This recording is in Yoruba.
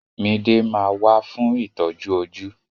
Mide ma wà fún itọju ojú.